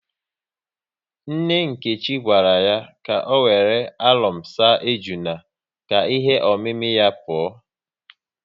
Nne Nkechi gwara ya ka ọ wéré alọm saa ejuna ka ihe omimi ya pụọ